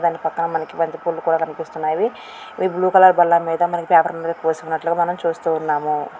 దాని పక్కన మనకి బంతిపూలు కూడా కనిపిస్తున్నాయి. ఈ బ్లూ కలర్ బల్ల మీద మనకి పేపర్ మీద పోసి ఉన్నట్లుగా మనం చూస్తూ ఉన్నాం.